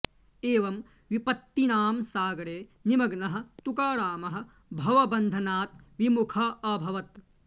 एवं विपत्तीनां सागरे निमग्नः तुकारामः भवबन्धनात् विमुखः अभवत्